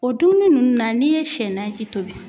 O dumuni ninnu na n'i ye sɛ naji tobi foyi